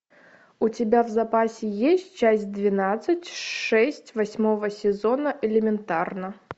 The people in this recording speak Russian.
у тебя в запасе есть часть двенадцать шесть восьмого сезона элементарно